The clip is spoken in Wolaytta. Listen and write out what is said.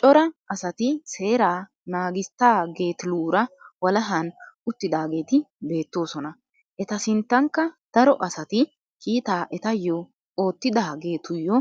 Cora asati seeraa naagissitageetiluura walahan uttidaageeti beettoosona. Eta sinttankka daro asati kiitaa etayyoo ottidaagetuyyo